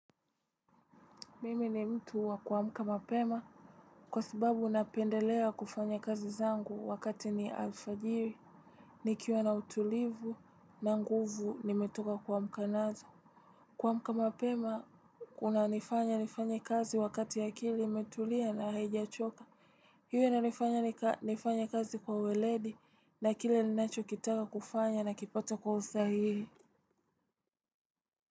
Mimi ni mtu wa kuamka mapema, kwa sababu napendelea kufanya kazi zangu wakati ni alfajiri, nikiwa na utulivu na nguvu nimetoka kuamka nazo. Kuamka mapema, unanifanya nifanye kazi wakati akili imetulia na haijachoka, hiyo inanifanya nifanya kazi kwa weledi na kile ninacho kitaka kufanya na kipata kwa usahihi.